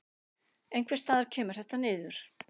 Einhvers staðar kemur þetta niður.